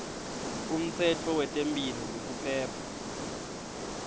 umtsetfo wetemphilo nekuphepha